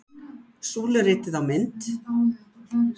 Súluritið á mynd